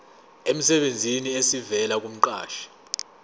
emsebenzini esivela kumqashi